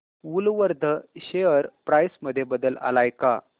Woolworth share price मध्ये बदल आलाय का